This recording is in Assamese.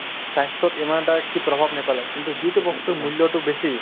স্বাস্থ্যত ইমান এটা সি প্ৰভাৱ নেপেলাই কিন্তু যিটো বস্তুৰ মূল্যতো বেছি